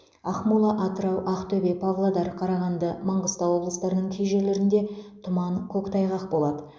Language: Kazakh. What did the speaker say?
ақмола атырау ақтөбе павлодар қарағанды маңғыстау облыстарының кей жерлерінде тұман көктайғақ болады